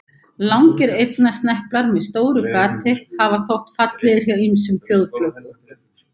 Langir eyrnasneplar með stóru gati hafa þótt fallegir hjá ýmsum þjóðflokkum.